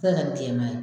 se ka kɛ bilenman ye